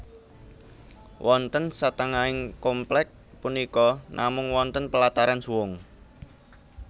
Wonten satengahing komplèk punika namung wonten pelataran suwung